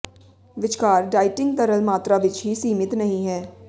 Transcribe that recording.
ਵਿਚਕਾਰ ਡਾਇਟਿੰਗ ਤਰਲ ਮਾਤਰਾ ਵਿੱਚ ਹੀ ਸੀਮਿਤ ਨਹੀ ਹੈ